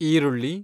ಈರುಳ್ಳಿ